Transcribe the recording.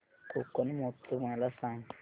कोकण महोत्सव मला सांग